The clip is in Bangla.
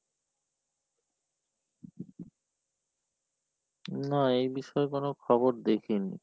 না এই বিষয়ে কোনো খবর দেখিনি।